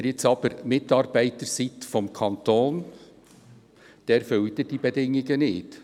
Wenn Sie Mitarbeiter des Kantons sind, erfüllen Sie diese Bedingungen nicht.